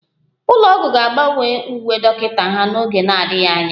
Ụlọ ọgwụ ga-agbanwe uwe dọkịta ha n'oge na-adịghị anya